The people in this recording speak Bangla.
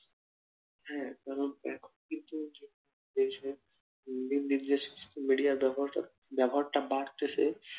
হ্যাঁ কারন এখন কিন্তু দেশে media র ব্যবহারটা বাড়তেসে